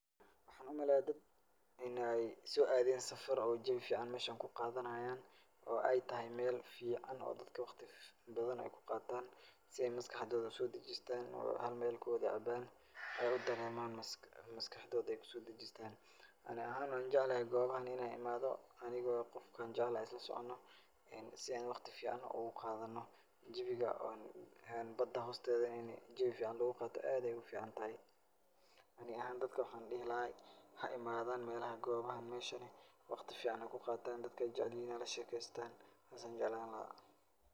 Waxaan u maleeyaa dad in ay soo aadeen safar oo jawi ficaan meesha ay ku qaadanaayaan oo ay tahay meel fiicaan oo dadka wakhti badan ay ku qaataan si ay maskaxdooda u soo dejistaan oo xal meel ku wad cabaan ay u dareemaan maskax maskaxdooda ay u soo dejistaan. Ani ahaan waxaan jeclahay goobahan inay imaado anigoo qofka aan jeclahay isla socono aan si aan wakhti fiicaan ugu qaadano. Jawiga oo aan badan hoosteeda in jawi fiicaan lugu qaato aad ayaay u ficaantahay. Ani ahaan dadka waxaan dhihi lahaay ,ha imaadan meelaha goobahan meeshani. Wakhti fiicaan ha ku qaataan. Dadka ay jeclihiin ha la sheekaystaan. Saas ayaan jeclaan lahaa.